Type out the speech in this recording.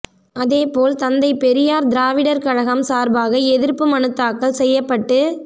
அதேபோல் தந்தை பெரியார் திராவிடர் கழகம் சார்பாக எதிர்ப்பு மனு தாக்கல் செய்யப்பட்டு